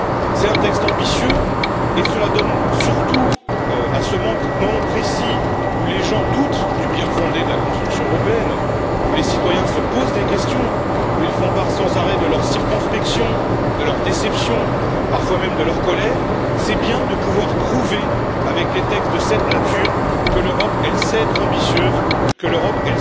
C'est un texte ambitieux et cela donne surtout à ce moment précis où les gens doutent du bien fondé de la construction européenne, où les citoyens se posent des questions, où ils font sans arrêt part de leur circonspection, de leur déception, parfois même de leur colère l'occasion de pouvoir prouver avec des textes de cette nature que l'Europe sait être ambitieuse, que l'Europe